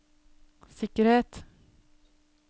sikkerhet